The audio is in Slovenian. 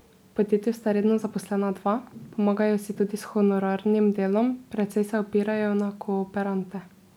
V podjetju sta redno zaposlena dva, pomagajo si tudi s honorarnim delom, precej se opirajo na kooperante.